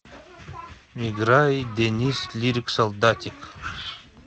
играй денис лирик солдатик